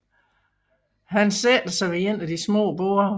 Han sætter sig ved et af de små borde